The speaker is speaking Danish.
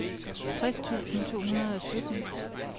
tres tusind to hundrede og sytten